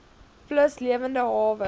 plus lewende hawe